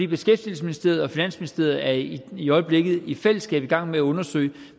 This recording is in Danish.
beskæftigelsesministeriet og finansministeriet er i øjeblikket i fællesskab i gang med undersøge